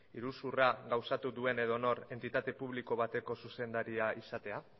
iruzurra gauzatu duen edonork entitate publiko bateko zuzendaria izatea